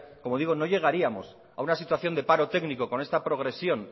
como digo no llegaríamos a una situación de paro técnico con esta progresión